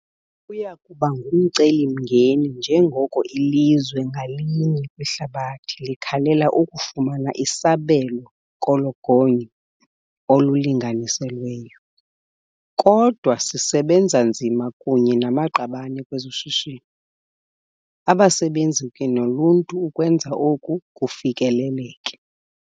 Kuya kuba ngumcelimngeni njengoko ilizwe ngalinye kwihlabathi likhalela ukufumana isabelo kolo gonyo olulinganiselweyo. Kodwa sisebenza nzima kunye namaqabane kwezoshishino, abasebenzi kunye noluntu ukwenza oku kufikeleleke.